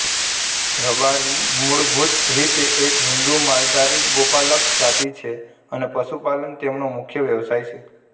રબારી મૂળભુત રીતે એક હિન્દુ માલધારી ગોપાલક જાતી છે અને પશુપાલન તેમનો મુખ્ય વ્યવસાય છે